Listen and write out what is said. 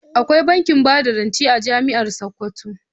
Akwai bankin bada rance a jami'ar Sokoto.